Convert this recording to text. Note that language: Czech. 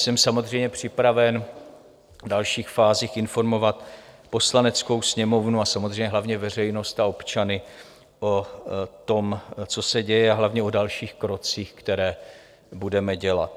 Jsem samozřejmě připraven v dalších fázích informovat Poslaneckou sněmovnu, ale samozřejmě hlavně veřejnost a občany o tom, co se děje, a hlavně o dalších krocích, které budeme dělat.